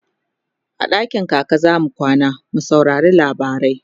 a dakin kaka zamu kwana mu saurari labarai